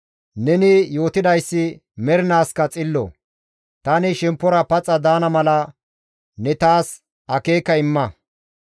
Neni yootidayssi mernaaskka xillo; tani shemppora paxa daana mala ne taas akeeka imma.